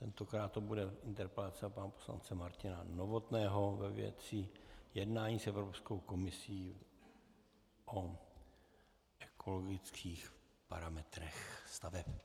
Tentokrát to bude interpelace pana poslance Martina Novotného ve věci jednání s Evropskou komisí o ekologických parametrech staveb.